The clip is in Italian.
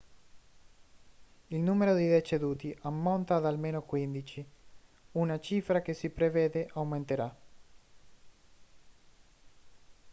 il numero di deceduti ammonta ad almeno 15 una cifra che si prevede aumenterà